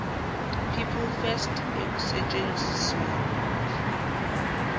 people first ekusetshenzisweni